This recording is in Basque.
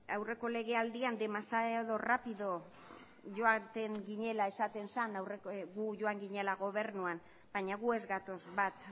aurreko legealdian demasiado rápido joaten ginela esaten zen gu joan ginela gobernuan baina gu ez gatoz bat